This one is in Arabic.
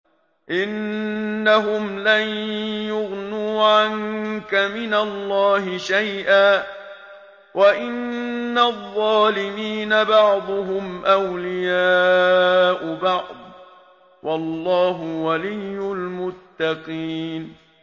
إِنَّهُمْ لَن يُغْنُوا عَنكَ مِنَ اللَّهِ شَيْئًا ۚ وَإِنَّ الظَّالِمِينَ بَعْضُهُمْ أَوْلِيَاءُ بَعْضٍ ۖ وَاللَّهُ وَلِيُّ الْمُتَّقِينَ